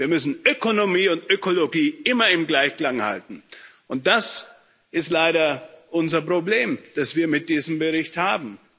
Wir müssen Ökonomie und Ökologie immer im Gleichklang halten, und das ist leider unser Problem, das wir mit diesem Bericht haben.